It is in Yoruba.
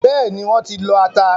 Bẹ́ẹ̀ni, wọ́n ti lọ ata.